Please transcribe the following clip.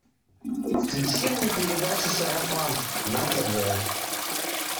включи мне передачу сарафан на тв